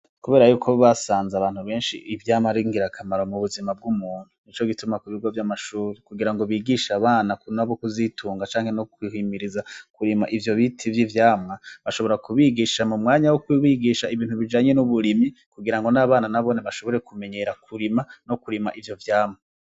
Kubera yuko basanze abantu benshi ivyama ringira akamaro mu buzima bw'umuntu ni co gituma ku bigo vy'amashuru kugira ngo bigisha abana kuna abo ukuzitunga canke no kwihimiriza kurima ivyo bite ivyo ivyama bashobora kubigisha mu mwanya wo kbigisha ibintu bijanye n'uburimyi kugira ngo n'abana nabone bashobore kumenyera kurima no kurima ivyo vyama.